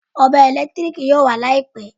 Ọ̀bẹ ẹ̀lẹ́tíríkì yóò wà Láìpẹ́